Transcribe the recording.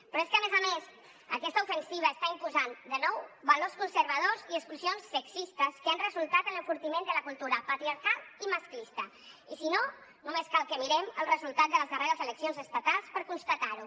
però és que a més a més aquesta ofensiva està imposant de nou valors conservadors i exclusions sexistes que han resultat en l’enfortiment de la cultura patriarcal i masclista i si no només cal que mirem el resultat de les darreres eleccions estatals per constatar ho